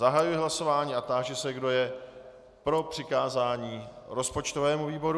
Zahajuji hlasování a táži se, kdo je pro přikázání rozpočtovému výboru.